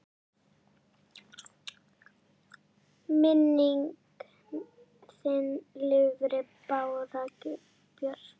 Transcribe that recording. Minning þin lifir, Bára Björk.